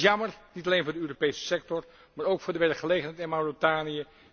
Dat is jammer, niet alleen voor de Europese sector, maar ook voor de werkgelegenheid in Mauritanië.